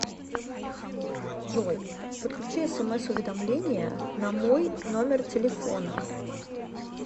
джой подключи смс уведомления намой номер телефона